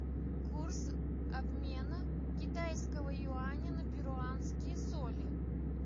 курс обмена китайского юаня на перуанские соли